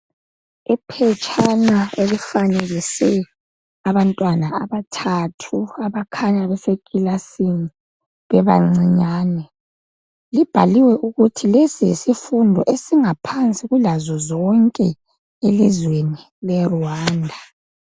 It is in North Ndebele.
Iphetshana elifanekise abantwana abathathu abakhanya besekilasini bebancinyane. Libhaliwe ukuthi lesi yisifundo esingaphansi kulazo zonke elizweni leRwanda.